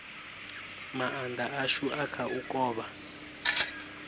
maanda ashu a kha u kovha